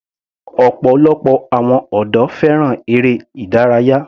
Ọ̀pọ̀lọpọ̀ àwọn ọ̀dọ́ fẹ́ràn eré ìdárayá.